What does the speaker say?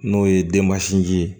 N'o ye denmasinin ye